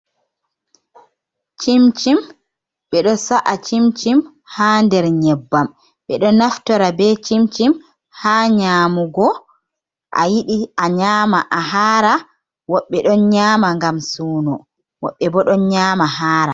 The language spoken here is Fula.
Cimcim, be do sa’a cimcim ha nder nyebbam ɓedo naftora be cimcim ha nyamugo a yidi a nyama a hara woɓɓe don nyama ngam suno woɓɓe bo don nyama hara.